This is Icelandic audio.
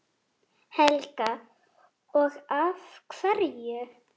Helga: Og af hverju?